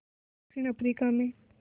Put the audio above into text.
दक्षिण अफ्रीका में